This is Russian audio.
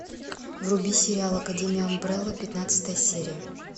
вруби сериал академия амбрелла пятнадцатая серия